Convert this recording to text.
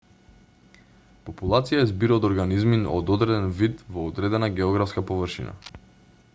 популација е збир од огранизми од одреден вид во одредена географска површина